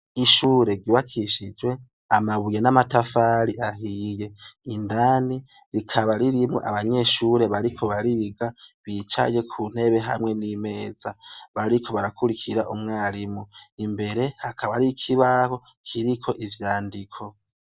Ishure ryubakishijwe amabuye n'amatafari ahiye, rikaba ririmwo abanyeshure bariko bariga bicaye hamwe n'imeza bariko barakurikira umwarimu, imbere hakaba hari ikibaho kiriko ivyandiko.